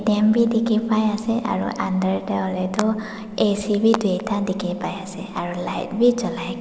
atm bi dikhi pai ase aru under deh hoile tu ac tuita dikhi paiase aru light wii julai.